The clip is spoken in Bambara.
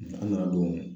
An nana don